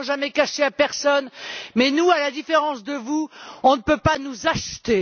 Nous ne l'avons jamais caché à personne. Mais nous, à la différence de vous, on ne peut pas nous acheter.